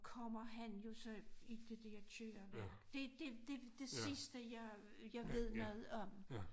Kommer han jo så i det der køreværk det det det det sidste jeg jeg ved noget om